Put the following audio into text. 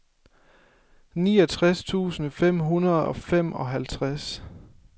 niogtres tusind fem hundrede og femoghalvtreds